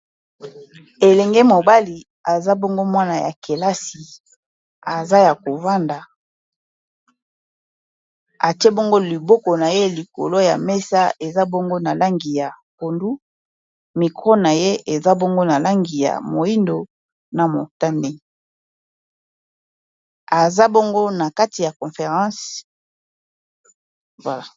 Elenge mobali aza bongo mwana ya kelasi aza ya kovanda atie bongo liboko na ye likolo ya mesa eza bongo na langi ya pondu micro na ye eza bongo na langi ya moyindo na motane aza bongo na kati ya conference voilà.